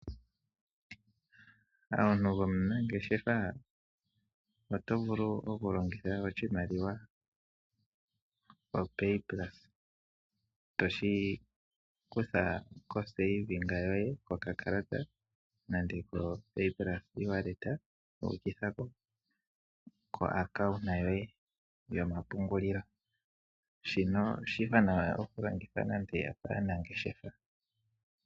Omuntu gomunangeshefa oto vulu oku longitha oshimaliwa opay plus toshi kutha komapungulilo goye kokatala nande ko payplus koEwallet wuukitha koaccounta yoye yomapungulilo shinono oshiwanawa oku longitha nande aanangeshefa